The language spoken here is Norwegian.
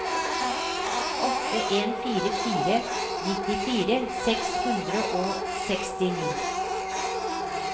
åtte en fire fire nittifire seks hundre og sekstini